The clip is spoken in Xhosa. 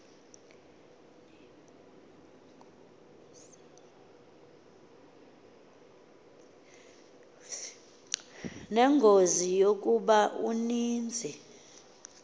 nengozi yokuba uninzi